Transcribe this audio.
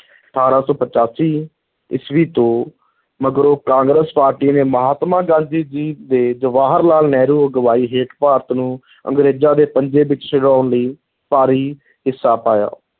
ਅਠਾਰਾਂ ਸੌ ਪਚਾਸੀ ਈਸਵੀ ਤੋਂ ਮਗਰੋਂ ਕਾਂਗਰਸ ਪਾਰਟੀ ਨੇ ਮਹਾਤਮਾ ਗਾਂਧੀ ਜੀ ਤੇ ਜਵਾਹਰ ਲਾਲ ਨਹਿਰੂ ਅਗਵਾਈ ਹੇਠ ਭਾਰਤ ਨੂੰ ਅੰਗਰੇਜ਼ਾਂ ਦੇ ਪੰਜੇ ਵਿਚੋਂ ਛੁਡਾਉਣ ਲਈ ਭਾਰੀ ਹਿੱਸਾ ਪਾਇਆ।